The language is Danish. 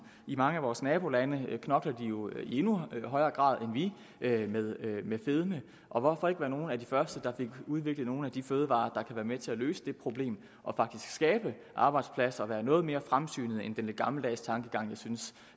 i mange af vores nabolande knokler de jo i endnu højere grad end vi med fedme og hvorfor ikke være nogle af de første der fik udviklet nogle af de fødevarer der være med til at løse det problem og faktisk skabe arbejdspladser og være noget mere fremsynet end den lidt gammeldags tankegang jeg synes